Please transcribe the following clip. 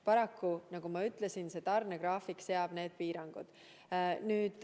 Paraku, nagu ma ütlesin, seab tarnegraafik piirangud.